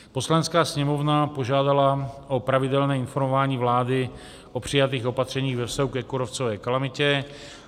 Poslanecká sněmovna požádala o pravidelné informování vlády o přijatých opatřeních ve vztahu ke kůrovcové kalamitě.